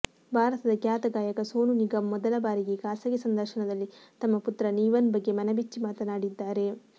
ಭಾರತದ ಖ್ಯಾತ ಗಾಯಕ ಸೋನು ನಿಗಮ್ ಮೊದಲ ಬಾರಿಗೆ ಖಾಸಗಿ ಸಂದರ್ಶನದಲ್ಲಿ ತಮ್ಮ ಪುತ್ರ ನೀವನ್ ಬಗ್ಗೆ ಮನಬಿಚ್ಚಿ ಮಾತನಾಡಿದ್ದಾರೆ